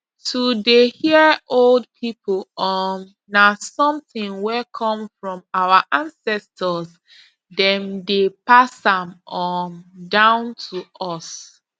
to dey hear old people um na something wey come from our ancestors dem dey pass am um down to us